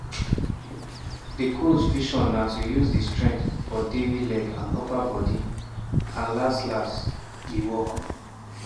di coaches vision na to use di strength for devi leg and upper bodi and las-las e work.